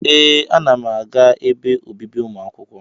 Ee, ana m aga ebe obibi ụmụ akwụkwọ.